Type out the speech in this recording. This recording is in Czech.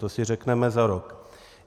To si řekneme za rok.